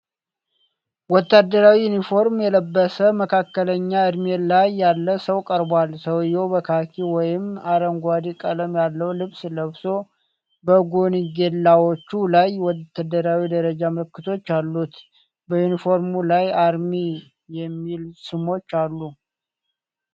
ወታደራዊ ዩኒፎርም የለበሰ፣ መካከለኛ እድሜ ላይ ያለ ሰው ቀርቧል። ሰውየው በካኪ ወይም አረንጓዴ ቀለም ያለው ልብስ ለብሶ፣ በጎንጌላዎቹ ላይ የወታደራዊ ደረጃ ምልክቶች አሉት። በዩኒፎርሙ ላይ አርሚ የሚሉ ስሞች አሉ።